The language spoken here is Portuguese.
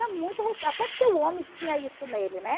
Até porque o homem tinha isso nele, né?